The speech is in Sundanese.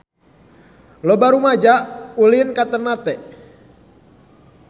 Loba rumaja ulin ka Ternate